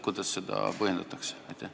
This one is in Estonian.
Kuidas seda põhjendatakse?